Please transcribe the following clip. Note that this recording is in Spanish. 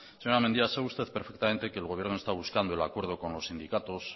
señora mendia sabe usted perfectamente que el gobierno está buscando el acuerdo con los sindicatos